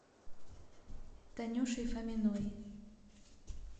танюшей фоминой